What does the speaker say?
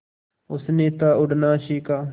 उसने था उड़ना सिखा